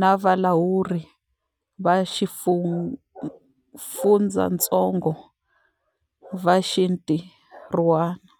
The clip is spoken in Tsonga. na valawuri va xifundzatsongo va xintirhwana.